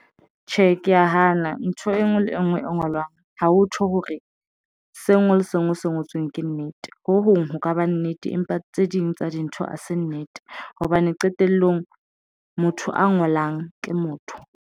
Tjhe, ke ya hana ntho enngwe le enngwe e ngolwang ha ho thwe hore se ngwe le sengwe se ngotsweng ke nnete ho hong ho ka ba nnete empa tse ding tsa dintho ha se nnete hobane qetellong motho a ngolang ke motho.